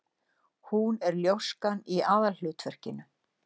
Hún er ljóskan í aðalhlutverkinu.